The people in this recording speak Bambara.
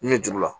Nin ne jugu la